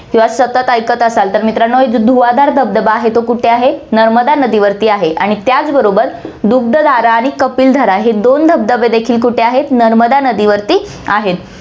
किंवा सतत ऐकत असाल, तर मित्रांनो एक धुवाधार धबधबा आहे, तो कुठे आहे, नर्मदा नदीवरती आहे आणि त्याच बरोबर दुग्धधारा आणि कपिलधारा हे दोन धबधबे देखील कुठे आहेत, नर्मदा नदीवरती आहेत.